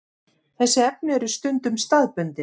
Þessi efni eru stundum staðbundin.